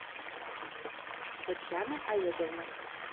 татьяна олеговна